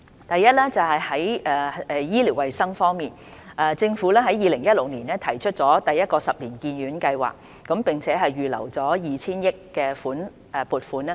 第一，在醫療衞生方面，政府在2016年提出第一個十年醫院發展計劃，並預留 2,000 億元的撥款。